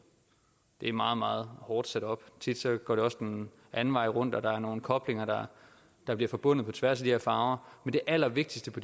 det er meget meget hårdt sat op tit går det også den anden vej rundt og der er nogle koblinger der bliver forbundet på tværs af de her farver men det allervigtigste på